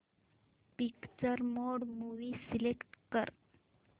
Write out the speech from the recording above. picture mode movie select कर